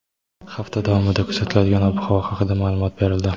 Hafta davomida kuzatiladigan ob-havo haqida ma’lumot berildi.